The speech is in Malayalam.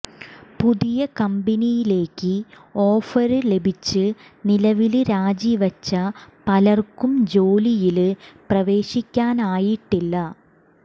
പുതിയ കമ്പനിയിലേക്ക് ഓഫര് ലഭിച്ച് നിലവില് രാജിവച്ച പലര്ക്കും ജോലിയില് പ്രവേശിക്കാനായിട്ടില്ല